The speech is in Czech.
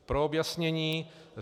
Pro objasnění.